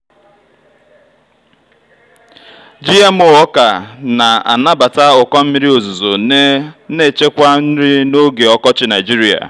gmo ọka na-anabata ụkọ mmiri ozuzo na-echekwa nri n'oge ọkọchị nigeria.